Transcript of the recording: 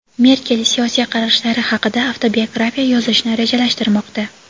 Merkel siyosiy qarashlari haqida avtobiografiya yozishni rejalashtirmoqda.